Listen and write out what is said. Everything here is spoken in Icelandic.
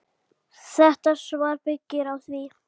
Þetta svar byggir á því.